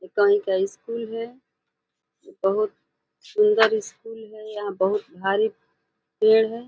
ये कहीं का स्कूल है। बहुत शुंदर स्कूल है। यहाँ बहुत भारी पेड़ है।